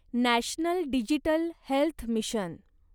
national digital health mission